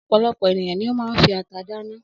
Ọ̀pọ̀lọpọ̀ ènìyàn ni ó máa ń fi ata dáná.